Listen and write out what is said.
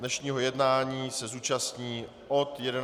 Dnešního jednání se zúčastní od 11 hodin.